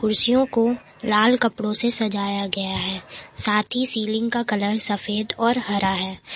कुर्सियों को लाल कपड़ों से सजाया गया है साथ ही सीलिंग का कलर सफेद और हरा है।